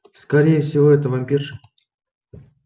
скорее всего это вампирша